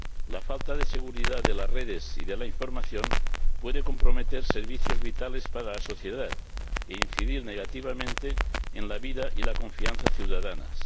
La falta de seguridad de las redes y de la información puede comprometer servicios vitales para la sociedad e incidir negativamente en la vida y en la confianza ciudadanas.